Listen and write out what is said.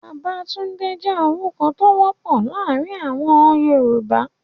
Babatunde je orukọ to wopọ laarin awọn Yoruba